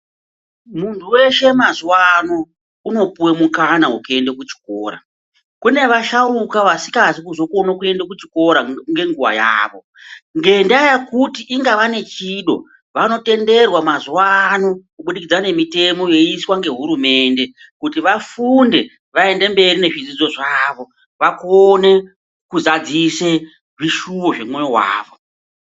Muntu weshe mazuwa ano unopuwa mukana wekuenda kuchikora. Kune vasharuka vasikazi kuzoenda kuchikora ngenguwa yavo, ngendaa yekuti inga vanechido vanotenderwa mazuwa ano kubudikidza ngemitemo yoiswa ngehurumende kuti vafunde vaende mberi nezvidzidzo zvavo vakone kuzadzisa zvishuwo zvemwoyo wavo